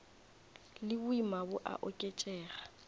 le boima bo a oketšega